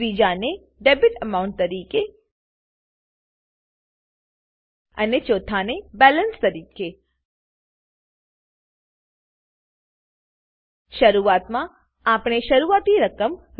ત્રીજાને debit amount તરીકે અને ચોથાને બેલેન્સ તરીકે શરૂઆતમાં આપણે શરૂઆતની રકમ રૂ